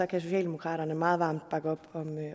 kan socialdemokraterne meget varmt bakke op